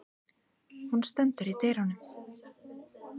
Hún stendur í dyrunum.